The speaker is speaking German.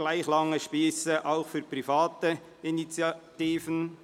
Gleich lange Spiesse auch für private Initiativen».